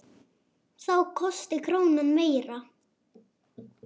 Þá kosti krónan meira.